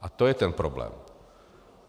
A to je ten problém.